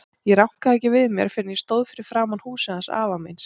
Ég rankaði ekki við mér fyrr en ég stóð fyrir framan húsið hans afa míns.